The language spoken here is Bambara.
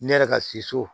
Ne yɛrɛ ka se so